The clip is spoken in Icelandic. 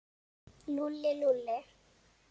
Lúlli, Lúlli.